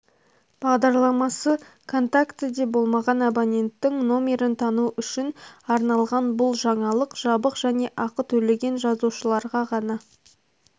бағдарламасы контактіде болмаған абоненттің номерін тану үшін арналған бұл жаңалық жабық және ақы төлеген жазылушыларға ғана